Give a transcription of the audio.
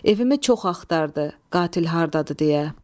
Evimi çox axtardı qatil hardadır deyə.